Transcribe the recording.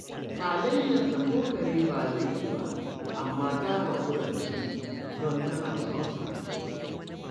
Halayensa ko kare ba zai ci ba, amma ta haƙura da su, don tana son sa